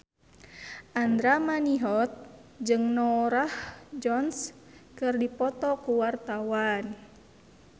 Andra Manihot jeung Norah Jones keur dipoto ku wartawan